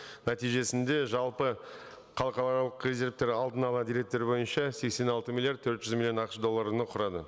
нәтижесінде жалпы халықаралық резервтер алдын ала деректер бойынша сексен алты миллиард төрт жүз миллион ақш долларын ы құрады